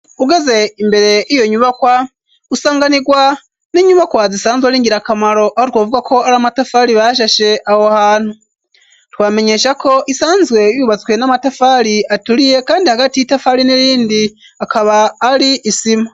Ugeze imbere y'iyo nyubakwa, usanganirwa n'inyubakwa zisanzwe ari ngirakamaro, aho twovuga ko ari amatafari bashashe aho hantu. Twobamenyesha ko isanzwe yubatswe n'amatafari aturiye kandi hagati y'itafari n'irindi akaba ari isima.